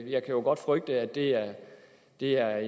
jeg kan jo godt frygte at det er det er